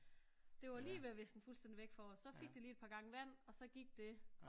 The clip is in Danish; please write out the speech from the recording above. Det var lige ved at visne fuldstændig væk for os så fik det lige et par gange vand og så gik det